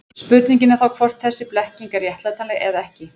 Spurningin er þá hvort þessi blekking er réttlætanleg eða ekki.